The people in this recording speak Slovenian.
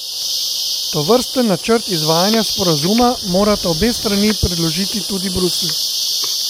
Tovrsten načrt izvajanja sporazuma morata obe strani predložiti tudi Bruslju.